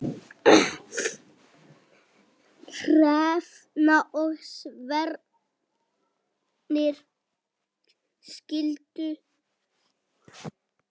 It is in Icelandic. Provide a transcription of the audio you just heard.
Hrefna og Sveinn skildu.